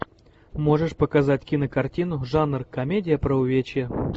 можешь показать кинокартину жанр комедия про увечья